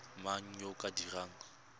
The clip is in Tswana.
mang yo o ka dirang